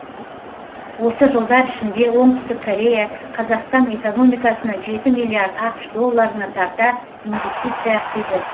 осы жылдар ішінде оңтүстік корея қазақстан экономикасына жеті миллиард ақш долларына тарта инвестиция құйды